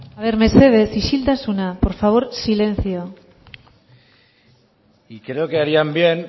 a ver mesedez isiltasuna por favor silencio y creo que harían bien